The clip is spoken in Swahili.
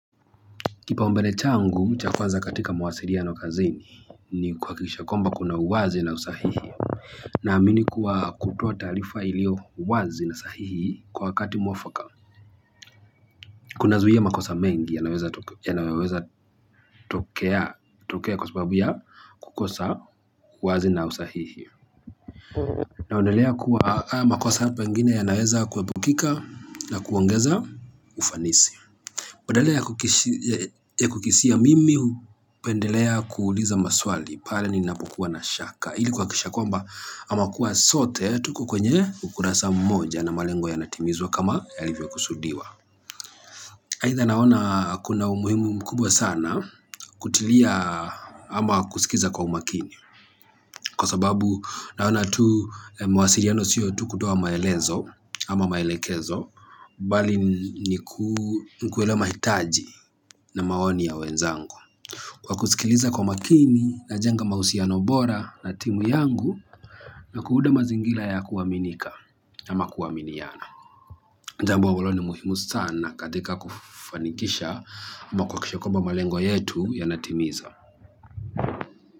Kipaombele changu, cha kwanza katika mawasiliano kazini ni kuhakikisha kwamba kuna uwazi na usahihi. Naamini kuwa kutoa taarifa iliyo wazi na sahihi kwa wakati muafaka. Kunazuia makosa mengi yanayoweza tokea kwa sababu ya kukosa uwazi na usahihi. Na ondelea kuwa haya makosa pengine yanaweza kuepukika na kuongeza ufanisi. Badala ya kukisia mimi, hupendelea kuuliza maswali, pale ninapokuwa na shaka. Ili kuhakikisha kwamba ama kuwa sote tuko kwenye ukurasa mmoja na malengo yanatimizwa kama yalivyo kusudiwa. Aidha naona kuna umuhimu mkubwa sana kutilia ama kusikiliza kwa umakini. Kwa sababu naona tu mawasiliano sio tu kutoa maelezo ama maelekezo bali ni kuelewa mahitaji na maoni ya wenzangu. Kwa kusikiliza kwa makini najenga mahusiano bora na timu yangu. Na kuunda mazingira ya kuaminika ama kuaminiana jambo ulo ni muhimu sana katika kufanikisha ama kuhakikisha kwamba malengo yetu yanatimiza.